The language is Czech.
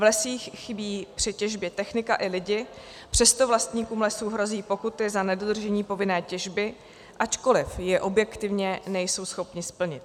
V lesích chybí při těžbě technika i lidé, přesto vlastníkům lesů hrozí pokuty za nedodržení povinné těžby, ačkoliv ji objektivně nejsou schopni splnit.